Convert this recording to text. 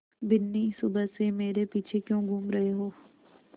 बिन्नी सुबह से मेरे पीछे क्यों घूम रहे हो